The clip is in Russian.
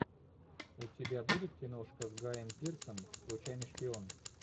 у тебя будет киношка с гаем пирсом случайный шпион